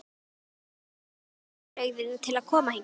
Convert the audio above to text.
En hvernig voru viðbrigðin að koma hingað?